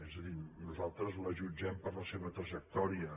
és a dir nosaltres la jutgem per la seva trajectòria